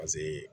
Pase